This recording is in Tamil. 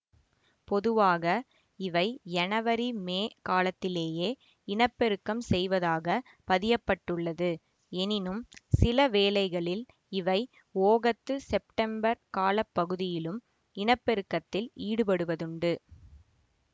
பொதுவாக இவை யனவரிமே காலத்திலேயே இனப்பெருக்கம் செய்வதாகப் பதியப்பட்டுள்ளது எனினும் சில வேளைகளில் இவை ஓகத்துசெப்டெம்பர் கால பகுதியிலும் இனப்பெருக்கத்தில் ஈடுபடுவதுண்டு